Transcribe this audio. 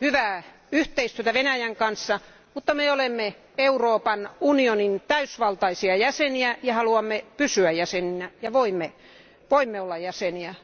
hyvää yhteistyötä Venäjän kanssa, mutta me olemme Euroopan unionin täysivaltaisia jäseniä ja haluamme pysyä jäseninä ja voimme olla jäseniä.